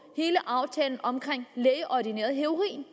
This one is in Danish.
hele aftalen om lægeordineret heroin